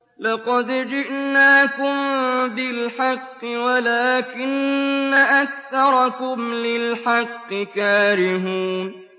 لَقَدْ جِئْنَاكُم بِالْحَقِّ وَلَٰكِنَّ أَكْثَرَكُمْ لِلْحَقِّ كَارِهُونَ